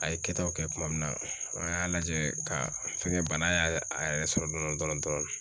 A ye kɛtaw kɛ tuma min na an y'a lajɛ ka fɛn kɛ bana y'a yɛrɛ sɔrɔ dɔndɔni.